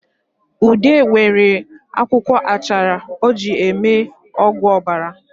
Ude nwere akwụkwọ achara o ji eme ọgwụ obara